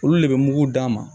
Olu de bɛ mugu d'a ma